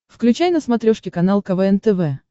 включай на смотрешке канал квн тв